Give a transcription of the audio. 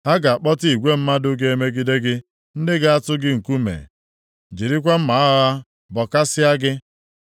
Ha ga-akpọta igwe mmadụ ga-emegide gị, ndị ga-atụ gị nkume, jirikwa mma agha ha bọkasịa gị.